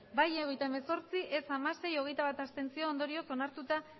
bai hogeita hemezortzi ez hamasei abstentzioak hogeita bat ondorioz onartuta